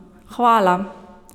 Hvala!